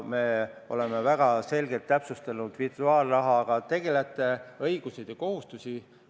Me oleme väga selgelt täpsustanud virtuaalrahaga tegelejate õigusi ja kohustusi.